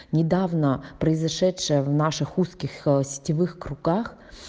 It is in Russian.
недавно произошедшее в наших узких сетевых руках